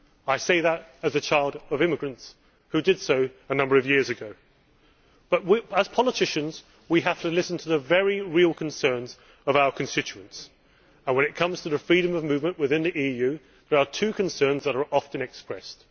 I say that as the child of immigrants who did so a number of years ago. However, as politicians, we have to listen to the very real concerns of our constituents and, when it comes to freedom of movement within the EU, there are two concerns that are often expressed.